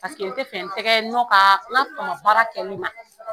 paseke] n tɛ fɛ tɛgɛ n'u ka baara kɛ min na